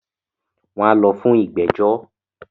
wọn á lọ fún “Ìgbẹ́jọ́”.